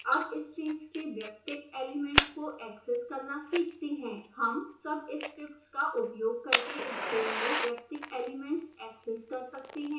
अब strings के वैयक्तिक एलिमेंट्स को ऐक्सेस करना सीखते हैं हम subscripts का उपयोग करके string में वैयक्तिक एलिमेंट्स ऐक्सेस कर सकते हैं